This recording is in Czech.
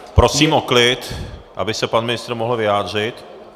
Prosím o klid, aby se pan ministr mohl vyjádřit.